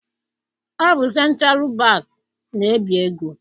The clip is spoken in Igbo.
Ọ bụ sentralụ bankị na- ebi ego.